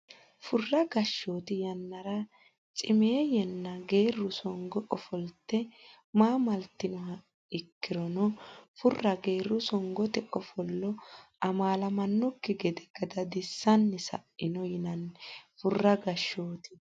Furra gashshooti yannara cimeeyyenna geerru songo ofolte ma litannoha ikkirono Furra geerru songote ofolle amaalamannokki gede gadadissanni sa ino yinanni Furra gashshooti.